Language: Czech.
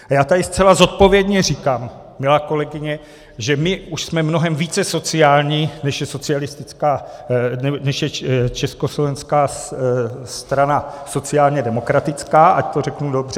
A já tady zcela zodpovědně říkám, milá kolegyně, že my už jsme mnohem více sociální, než je Československá strana sociálně demokratická, ať to řeknu dobře.